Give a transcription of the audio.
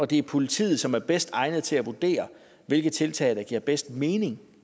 det er politiet som er bedst egnet til at vurdere hvilke tiltag der giver bedst mening